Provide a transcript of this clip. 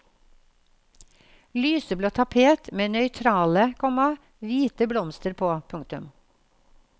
Lyseblå tapet med nøytrale, komma hviteblomster på. punktum